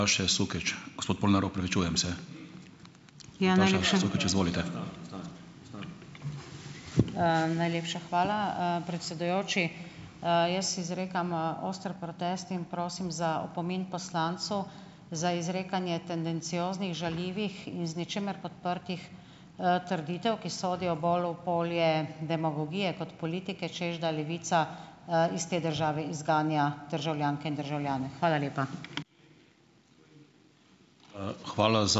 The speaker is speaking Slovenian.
Najlepša hvala, predsedujoči. Jaz izrekam, oster protest in prosim za opomin poslancu za izrekanje tendencioznih žaljivih in z ničimer podprtih, trditev, ki sodijo bolj v polje demagogije kot politike, češ da Levica, iz te države izganja državljanke in državljane. Hvala lepa.